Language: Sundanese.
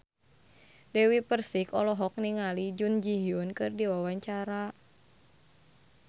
Dewi Persik olohok ningali Jun Ji Hyun keur diwawancara